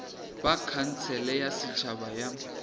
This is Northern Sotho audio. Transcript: ba khansele ya setšhaba ya